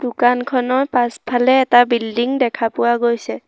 দোকানখনৰ পাছফালে এটা বিল্ডিং দেখা পোৱা গৈছে।